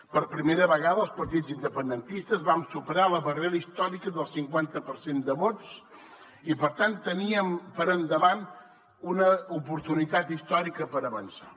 per primera vegada els partits independentistes vam superar la barrera històrica del cinquanta per cent de vots i per tant teníem per davant una oportunitat històrica per avançar